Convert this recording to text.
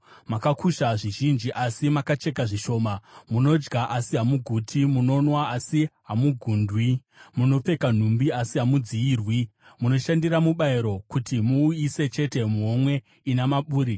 Makakusha zvizhinji, asi mukacheka zvishoma. Munodya, asi hamuguti. Munonwa, asi hamugundwi. Munopfeka nhumbi, asi hamudziyirwi. Munoshandira mubayiro, kuti muuise chete muhomwe ina maburi.”